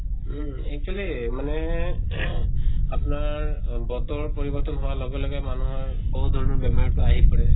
উম actually মানে আপনাৰ বতৰ পৰিৱৰ্তন হোৱাৰ লগে লগে মানুহৰ বহুত ধৰণৰ বেমাত টো আহি পৰে।